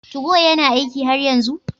Tugo yana aiki har yanzu?